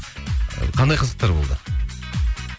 қандай қызықтар болды